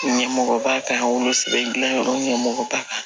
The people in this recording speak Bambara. Ɲɛmɔgɔba ka wolosɛbɛn dilan yɔrɔ ɲɛmɔgɔ ba kan